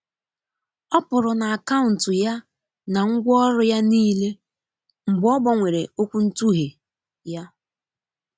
ọ pụrụ na akauntu ya na ngwaọrụ ya nile mgbe ogbanwere okwuntughe ya.